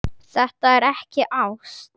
Þetta er ekki ást.